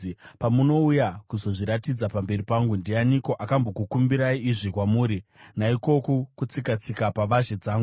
Pamunouya kuzozviratidza pamberi pangu, ndianiko akambokukumbirai izvi kwamuri, naikoku kutsika-tsika pavazhe dzangu?